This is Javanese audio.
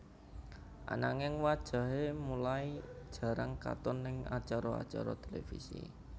Ananging wajahé mulai jarang katon ning acara acara televisi